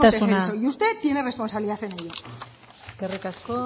de ser eso isiltasuna y usted tiene responsabilidad en ello eskerrik asko